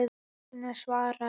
Agnes svarar.